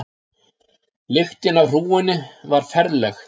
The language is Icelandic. Lyktin af hrúgunni var ferleg.